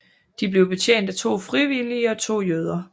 De blev betjent af to frivillige og to jøder